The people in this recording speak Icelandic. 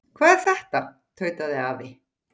Hvað er þetta? tautaði afi.